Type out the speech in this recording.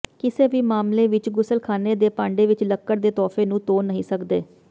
ਕਿਸੇ ਵੀ ਮਾਮਲੇ ਵਿਚ ਗੁਸਲਖਾਨੇ ਦੇ ਭਾਂਡੇ ਵਿਚ ਲੱਕੜ ਦੇ ਤੋਹਫ਼ੇ ਨੂੰ ਧੋ ਨਹੀਂ ਸਕਦੇ